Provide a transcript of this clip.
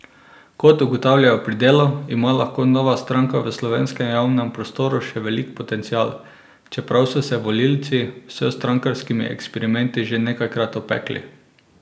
Kot ugotavljajo pri Delu, ima lahko nova stranka v slovenskem javnem prostoru še velik potencial, čeprav so se volivci s strankarskimi eksperimenti že nekajkrat opekli.